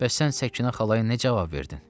Bəs sən Səkinə xalaya nə cavab verdin?